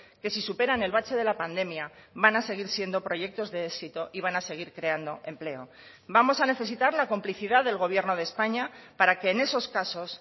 que si superan el bache de la pandemia van a seguir siendo proyectos de éxito y van a seguir creando empleo vamos a necesitar la complicidad del gobierno de españa para que en esos casos